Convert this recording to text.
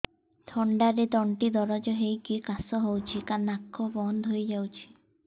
ଥଣ୍ଡାରେ ତଣ୍ଟି ଦରଜ ହେଇକି କାଶ ହଉଚି ନାକ ବନ୍ଦ ହୋଇଯାଉଛି